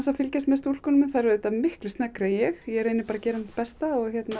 að fylgjast með stúlkunum þær eru auðvitað miklu sneggri en ég ég reyni bara að gera mitt besta